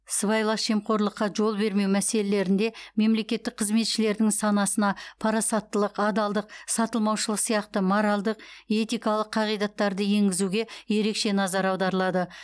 сыбайлас жемқорлыққа жол бермеу мәселелерінде мемлекеттік қызметшілердің санасына парасаттылық адалдық сатылмаушылық сияқты моральдық этикалық қағидаттарды енгізуге ерекше назар аударылады